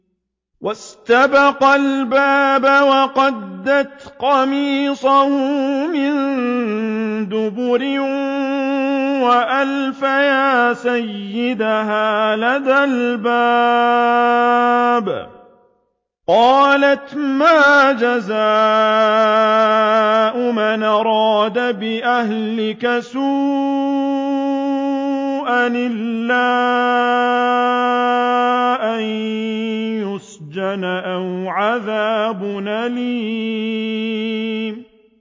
وَاسْتَبَقَا الْبَابَ وَقَدَّتْ قَمِيصَهُ مِن دُبُرٍ وَأَلْفَيَا سَيِّدَهَا لَدَى الْبَابِ ۚ قَالَتْ مَا جَزَاءُ مَنْ أَرَادَ بِأَهْلِكَ سُوءًا إِلَّا أَن يُسْجَنَ أَوْ عَذَابٌ أَلِيمٌ